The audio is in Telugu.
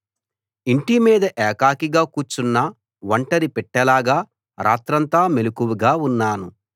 ఇంటిమీద ఏకాకిగా కూర్చున్న ఒంటరి పిట్టలాగా రాత్రంతా మెలకువగా ఉన్నాను